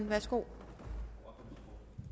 værsgo